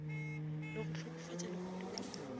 le go hlokofatša lehodu ka